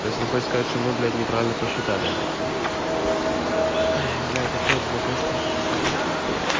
то есть он хочет сказать что мы блядь неправильно посчитали это всё ой блядь опять два теста эти писать это пиздец